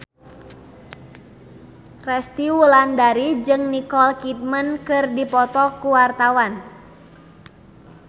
Resty Wulandari jeung Nicole Kidman keur dipoto ku wartawan